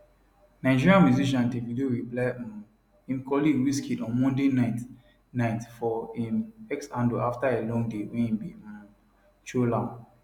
nigerian musician davido reply um im colleague wizkid on monday night night for im x handle afta a long day wey e bin um troll am